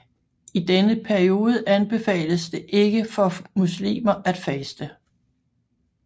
I denne periode anbefales det ikke for muslimer at faste